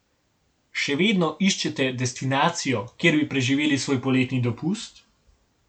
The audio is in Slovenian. Še vedno iščete destinacijo, kjer bi preživeli svoj poletni dopust?